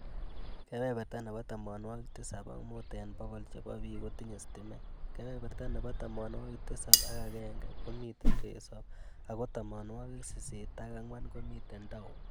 Kebeberta nebo tamanwokik tisab ak muut eng bokol chebo biik kotinye stimet , kebeberta nebo tamanwokik tisab ak agenhe komitei risop ago tamanwokik sisit ak ang'wan komitei town